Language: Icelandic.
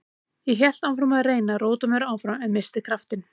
Ég hélt áfram að reyna að róta mér áfram en missti kraftinn.